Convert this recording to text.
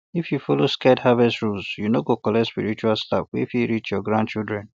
if you follow sacred harvest rules you no go collect spiritual slap wey fit reach your grandchildren